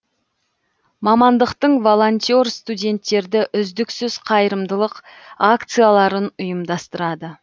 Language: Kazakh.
мамандықтың волонтер студенттерді үздіксіз қайырымдылық акцияларын ұйымдастырады